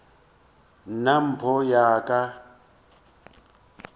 nna mpho ya ka ya